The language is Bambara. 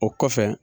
O kɔfɛ